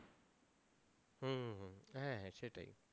হ্যাঁ সেটাই।